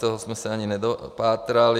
Toho jsme se ani nedopátrali.